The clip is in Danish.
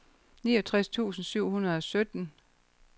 niogtres tusind syv hundrede og sytten